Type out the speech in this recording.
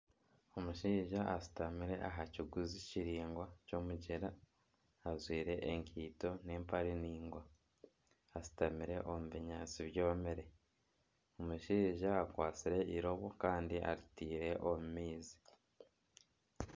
Omushaija ashutamire aha kiguzi kiraingwa ky'omugyera ajwaire ekaito n'empare ndaingwa ashutamire omu binyaatsi byomire, omushaija akwatsire eirobo kandi aritaire omu maizi.